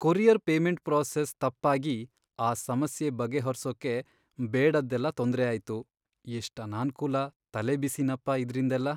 Courier payment process ತಪ್ಪಾಗಿ ಆ ಸಮಸ್ಯೆ ಬಗೆಹರ್ಸೋಕೆ ಬೇಡದ್ದೆಲ್ಲ ತೊಂದ್ರೆ ಆಯ್ತು. ಎಷ್ಟ್ ಅನಾನ್ಕೂಲ, ತಲೆಬಿಸಿನಪ್ಪ ಇದ್ರಿಂದೆಲ್ಲ.